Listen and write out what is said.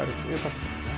einfalt